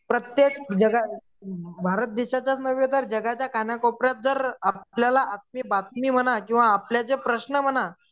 प्रत्येक भारत देशाच्याच नव्हे तर जगाच्या कानाकोपऱ्यात जर आपल्याला बातमी म्हणा किंवा आपले जे प्रश्न म्हणा